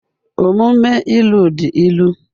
Omume ilu dị ilu